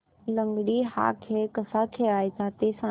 लंगडी हा खेळ कसा खेळाचा ते सांग